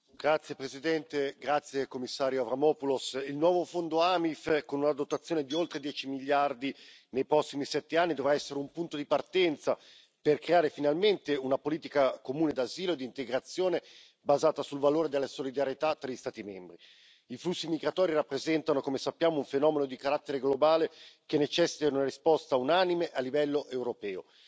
Signora Presidente, signor Commissario, onorevoli colleghi, il nuovo Fondo AMIF, con una dotazione di oltre 10 miliardi di euro nei prossimi 7 anni, dovrà essere un punto di partenza per creare finalmente una politica comune di asilo e di integrazione basata sul valore della solidarietà tra gli Stati membri. I flussi migratori rappresentano, come sappiamo, un fenomeno di carattere globale che necessita di una risposta unanime a livello europeo.